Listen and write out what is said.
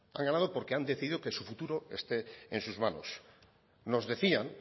han ganado porque han decidido que su futuro esté en sus manos nos decían